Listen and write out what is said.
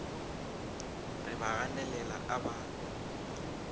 re ba ganelela a ba